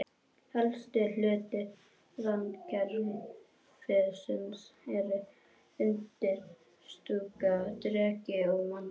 Helstu hlutar randkerfisins eru undirstúka, dreki og mandla.